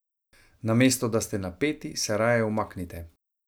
Namesto da ste napeti, se raje umaknite.